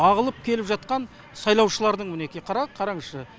ағылып келіп жатқан сайлаушылардың мінеки қара қараңызшы